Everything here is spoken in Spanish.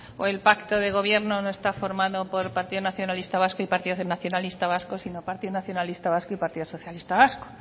o el pacto de gobierno no está formado por partido nacionalista vasco y partido nacionalista vasco sino partido nacionalista vasco y partido socialista vasco